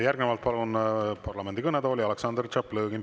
Järgnevalt palun parlamendi kõnetooli Aleksandr Tšaplõgini.